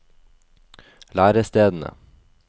lærestedene